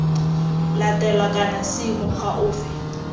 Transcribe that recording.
latelwa kana c mokgwa ofe